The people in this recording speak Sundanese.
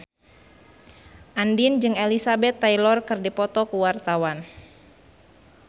Andien jeung Elizabeth Taylor keur dipoto ku wartawan